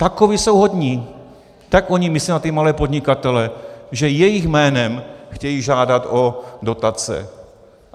Takoví jsou hodní, tak oni myslí na ty malé podnikatele, že jejich jménem chtějí žádat o dotace.